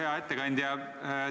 Hea ettekandja!